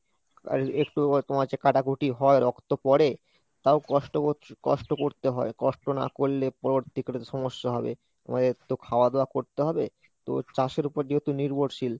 আর একটু তোমার যে কাটাকুটি হয় রক্ত পরে তাও কষ্ট করতে~ কষ্ট করতে হয় কষ্ট না করলে পরবর্তীকালে সমস্যা হবে, আমাদের তো খাওয়া দাওয়া করতে হবে, তো চাষের ওপর যেহেতু নির্ভরশীল